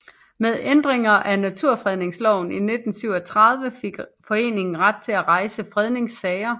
Med ændringen af Naturfredningsloven i 1937 fik foreningen ret til at rejse fredningssager